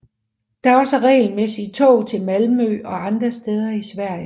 Der er også regelmæssige tog til Malmø og andre steder i Sverige